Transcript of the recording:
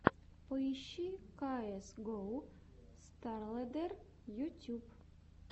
поищи каэс гоу старлэддер ютьюб